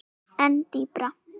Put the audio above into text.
En dýpra?